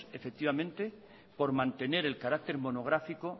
por mantener el carácter monográfico